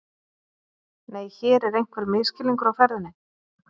Nei, hér er einhver misskilningur á ferðinni.